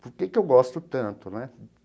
Por que que eu gosto tanto né?